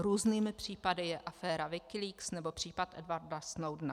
Hrůznými případy je aféra WikiLeaks nebo případ Edwarda Snowdena.